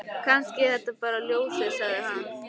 Kannski er það bara ljósið, sagði hann.